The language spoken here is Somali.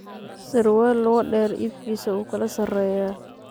Sarwal logu deer iibkisa uukalasareya.